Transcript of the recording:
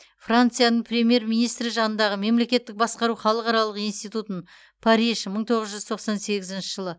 францияның премьер министрі жанындағы мемлекеттік басқару халықаралық институтын париж мың тоғыз жүз тоқсан сегізінші жылы